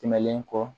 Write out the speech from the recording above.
Tɛmɛnen kɔ